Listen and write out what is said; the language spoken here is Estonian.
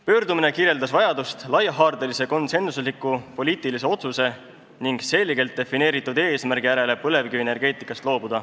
Pöördumine kirjeldas vajadust teha laiahaardeline konsensuslik poliitiline otsus põlevkivienergeetikast loobumise kohta ning seada see selgelt defineeritud eesmärgiks.